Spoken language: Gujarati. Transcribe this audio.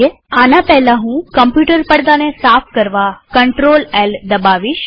આના પહેલા હું કમ્પ્યુટર પડદાને સાફ કરવા CtrlL દબાવીશ